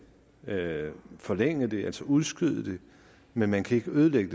forlænge det altså udskyde det men man kan ikke ødelægge